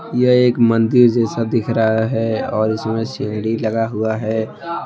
यह एक मंदिर जैसा दिख रहा है और उसमें सीढी लगा हुआ है।